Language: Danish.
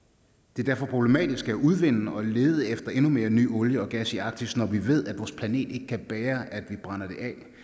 det er derfor problematisk at udvinde og lede efter endnu mere ny olie og gas i arktis når vi ved at vores planet ikke kan bære at vi brænder det